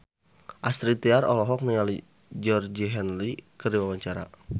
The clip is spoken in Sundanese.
Astrid Tiar olohok ningali Georgie Henley keur diwawancara